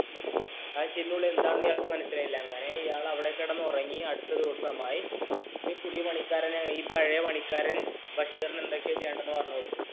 ഈ ചിരിയുടെ ഉള്ളിൽ എന്താണെന്നു ഇയാള്‍ക്ക് മനസിലായില അങ്ങനെ ഇയാള്‍ അവിടെ കിടന്നുറങ്ങിയ അടുത്ത ദിവസമായി ഈ പുതിയ പണിക്കാരന് പഴയ പണിക്കാരും ബഷീറിന് എന്തൊക്കെ ചെയ്യണം എന്ന് പറഞ്ഞു കൊടുത്തു